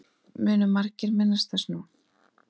Munu margir minnast þess nú.